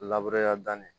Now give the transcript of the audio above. danni